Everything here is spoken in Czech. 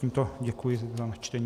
Tímto děkuji za načtení.